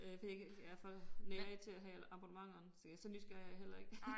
Øh for jeg kan jeg er for nærig til at have abonnementer så jeg så nysgerrig er jeg heller ikke